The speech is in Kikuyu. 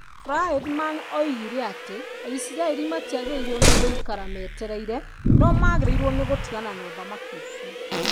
Friedman oigire atĩ Aisiraeli matiagĩrĩirwo nĩ gũikara metereire, no magĩrĩirwo nĩ gũtigana na ũthamaki ũcio.